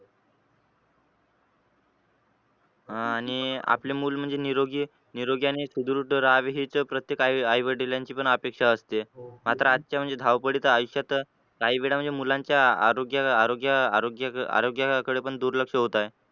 अह आणि आपले मूल म्हणजे निरोगी निरोगी आणि सुदृढ रहावे हीच प्रत्येक आई-वडिलांची पण अपेक्षा असते मात्र आजच्या म्हणजे धावपळीच्या आयुष्यात काही वेळा म्हणजे मुलांच्या आरोग्य आरोग्य आरोग्य आरोग्याकडे पण दुर्लक्ष होत आहे.